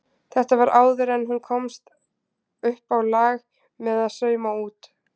Þetta var áður en hún komst uppá lag með að sauma út.